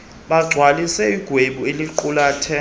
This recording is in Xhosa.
bagcwalise ixhwebhu eliqulathe